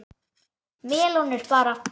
Melónur bara!